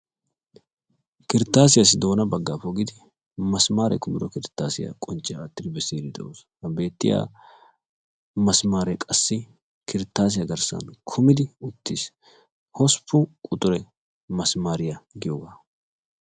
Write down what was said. Kirtasiyasi doona bagga pogidi misimare kumid kirtasiyaa kuci makid besidi deosona. Ha beettiyaa misimare qassi kirtasiyaa garssi kumidi uttiis. Hossppun quxure misimare giyogaa.